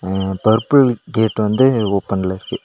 அ purple gate வந்து ஓபன்ல இருக்கு.